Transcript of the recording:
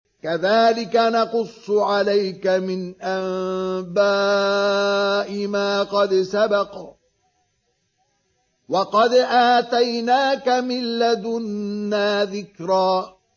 كَذَٰلِكَ نَقُصُّ عَلَيْكَ مِنْ أَنبَاءِ مَا قَدْ سَبَقَ ۚ وَقَدْ آتَيْنَاكَ مِن لَّدُنَّا ذِكْرًا